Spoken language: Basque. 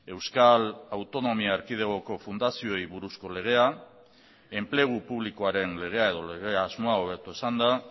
euskal autonomia erkidegoko fundazioei buruzko legea enplegu publikoaren legea edo lege asmoa hobeto esanda